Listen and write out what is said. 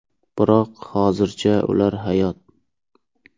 Biroq hozircha ular hayot.